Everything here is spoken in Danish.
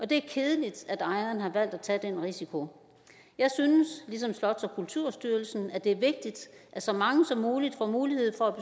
det er kedeligt at ejeren har valgt at tage den risiko jeg synes ligesom slots og kulturstyrelsen at det er vigtigt at så mange som muligt får mulighed for at